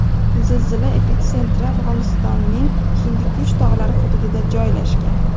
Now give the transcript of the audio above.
Zilzila epitsentri Afg‘onistonning Hindikush tog‘lari hududida joylashgan.